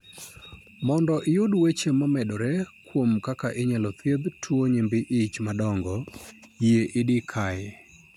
Mondo iyud weche momedore kuom kaka inyalo thiedh tuwo nyimbi ich madongo, yie idi kae.